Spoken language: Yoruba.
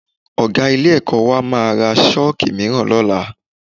Ọ̀ga ilé-ẹ̀kọ́ wa máa ra Ṣọ́ọ̀kì mìíràn lọ́la